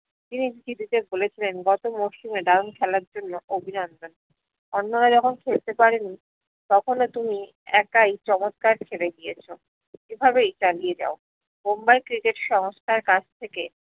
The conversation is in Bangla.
তিনি বলেছিলেন গত মৌসুমে দারুণ খেলার জন্য অভিনন্দন অন্যরা যখন খেলতে পারে নি তখনও তুমি একাই চমৎকার খেলে গিয়েছো এভাবেই চালিয়ে যাও মুম্বাই ক্রিকেট সংস্থার কাছ থেকে